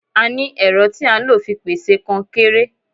A ní ẹ̀rọ tí a ń lò fi pèsè kọnkéré.